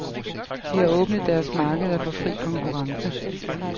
De har åbnet deres markeder for fri konkurrence.